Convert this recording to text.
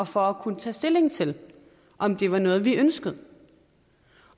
for at kunne tage stilling til om det var noget vi ønskede